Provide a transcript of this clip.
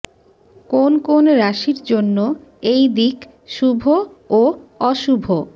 কোন কোন রাশির জন্য এই দিক শুভ ও অশুভ